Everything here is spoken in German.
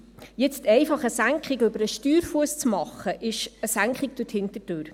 Jetzt einfach eine Senkung über den Steuerfuss zu machen, ist eine Senkung durch die Hintertür.